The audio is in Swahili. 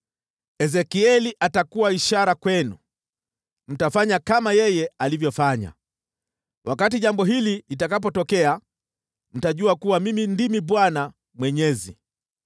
Ezekieli atakuwa ishara kwenu, mtafanya kama yeye alivyofanya. Wakati jambo hili litakapotokea, mtajua kuwa Mimi ndimi Bwana Mwenyezi.’